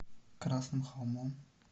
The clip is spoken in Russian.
красным холмом